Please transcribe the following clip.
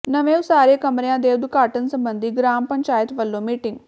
ਨਵੇਂ ਉਸਾਰੇ ਕਮਰਿਆਂ ਦੇ ਉਦਘਾਟਨ ਸਬੰਧੀ ਗਰਾਮ ਪੰਚਾਇਤ ਵਲੋਂ ਮੀਟਿੰਗ